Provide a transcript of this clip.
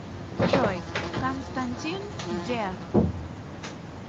джой константин дерр